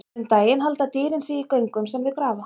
Um daginn halda dýrin sig í göngum sem þau grafa.